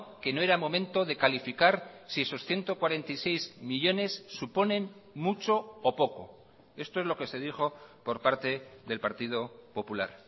que no era momento de calificar si esos ciento cuarenta y seis millónes suponen mucho o poco esto es lo que se dijo por parte del partido popular